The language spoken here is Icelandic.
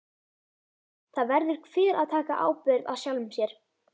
Það verður hver að taka ábyrgð á sjálfum sér.